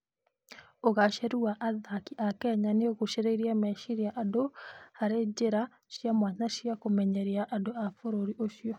Ũgaacĩru wa athaki a Kenya nĩ ũgucĩrĩirie meciria andũ harĩ njĩra cia mwanya cia kũmenyeria andũ a bũrũri ũcio.